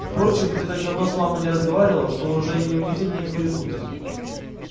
впрочем ты так давно с мамой не разговаривал что уже неудивительно их перепутать